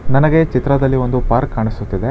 ನನಗೆ ಚಿತ್ರದಲ್ಲಿ ಒಂದು ಪಾರ್ಕ್ ಕಾಣಿಸುತ್ತಿದೆ.